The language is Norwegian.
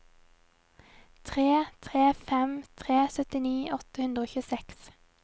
tre tre fem tre syttini åtte hundre og tjueseks